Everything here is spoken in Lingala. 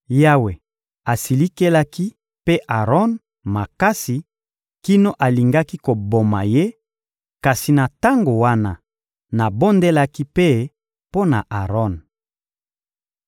Yawe asilikelaki mpe Aron makasi kino alingaki koboma ye; kasi na tango wana, nabondelaki mpe mpo na Aron.